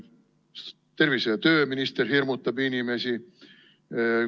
Tervise- ja tööminister hirmutab inimesi.